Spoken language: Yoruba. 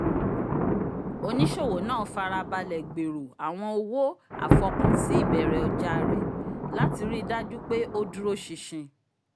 onisowo naa farabalẹ gbèrò awọn owo afọkansi ibẹrẹ ọjà rẹ lati rii daju pé o dúró ṣinṣin